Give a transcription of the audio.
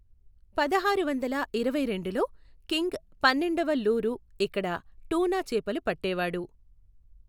పదహారు వందల ఇరవై రెండులో కింగ్ పన్నెండవ లూరు ఇక్కడ టూనా చేపలు పట్టేవాడు.